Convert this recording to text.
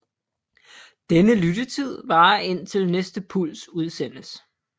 Denne lyttetid varer indtil næste puls udsendes